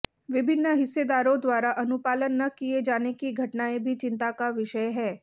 विभिन्न हिस्सेदारों द्वारा अनुपालन न किए जाने की घटनाएं भी चिंता का विषय हैं